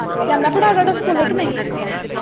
ਜਾਂਦਾ ਭਰਾ ਤੇਰਾ ਸਕੂਲੇ ਕੇ ਨਹੀਂ?